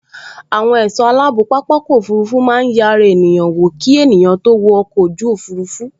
Àwọn ẹ̀sọ́ aláàbò pápákọ̀ òfurufú máa n yẹ ara ènìyàn wò ki ènìyàn tó wo ọkọ̀ ojú òfurufú